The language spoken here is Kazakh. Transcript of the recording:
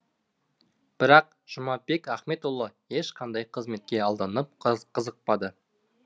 бірақ жұмабек ахметұлы ешқандай қызметке алданып қызықпады